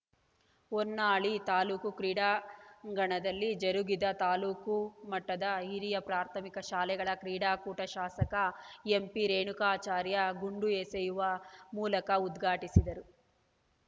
ಹೊನ್ನಾಳಿ ತಾಲೂಕು ಕ್ರೀಡಾಂಗಣದಲ್ಲಿ ಜರುಗಿದ ತಾಲೂಕು ಮಟ್ಟದ ಹಿರಿಯ ಪ್ರಾಥಮಿಕ ಶಾಲೆಗಳ ಕ್ರೀಡಾಕೂಟ ಶಾಸಕ ಎಂಪಿ ರೇಣುಕಾಚಾರ್ಯ ಗುಂಡು ಎಸೆಯುವ ಮೂಲಕ ಉದ್ಘಾಟಿಸಿದರು